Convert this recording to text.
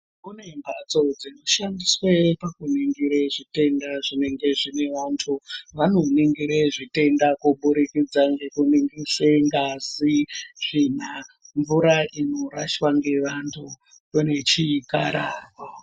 Kune mphatso dzinoshandiswe pakuningire zvitenda zvinenge zvine vanthu vanoningire zvitenda kubudikidza ngekuningise ngazi tsvina mvura inorashwa ngevanthu unechikara.